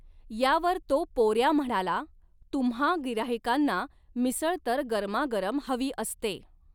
यावर तो पोऱ्या म्हणाला, तुम्हा गिऱ्हाइकांना मिसळ तर गरमागरम हवी असते.